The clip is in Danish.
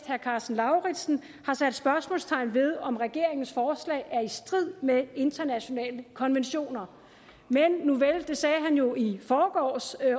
herre karsten lauritzen har sat spørgsmålstegn ved om regeringens forslag er i strid med internationale konventioner men nuvel det sagde han jo i forgårs